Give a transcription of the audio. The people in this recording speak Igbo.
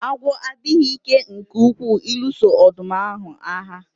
Agwọ adịghị ike nke ukwuu ịlụso ọdụm ahu agha